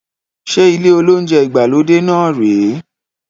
Ṣe ilé olounjẹ ìgbàlódé náà rè é?